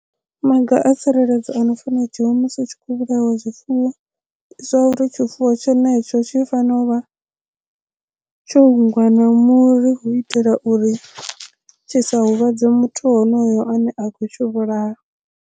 Maga a tsireledzo ano fana dzhiiwi musi hu tshi khou vhulaiwa zwifuwo ndi zwa uri tshifuwo tshenetsho tshi fanela u vha tsho hungwa na muri hu itela uri tshi sa huvhadze muthu honoyo ane a khou tshi vhulaya.